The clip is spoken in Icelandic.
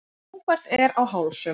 Ófært er á Hálsum